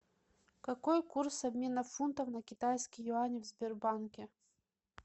какой курс обмена фунтов на китайские юани в сбербанке